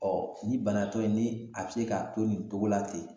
Ɔ ni banatɔ ye ni a be se k'a to nin togo la ten